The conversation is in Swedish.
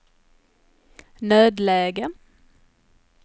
nödläge